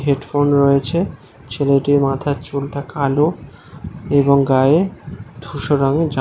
Headphone রয়েছে। ছেলেটির মাথার চুল তা কালো। এবং গায়ে ধূসর রঙের জামা ।